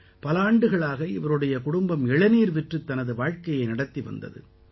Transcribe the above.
பல ஆண்டுகளாக இவருடைய குடும்பம் இளநீர் விற்றுத் தனது வாழ்க்கையை நடத்தி வந்தது